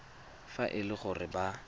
fa e le gore ba